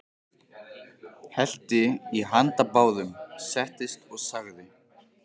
Hellti í handa báðum, settist og sagði: